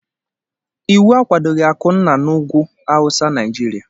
Iwu akwadoghị akụna n'ụgwụ hausa, najirịa